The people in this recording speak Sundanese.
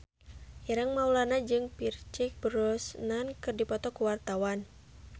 Ireng Maulana jeung Pierce Brosnan keur dipoto ku wartawan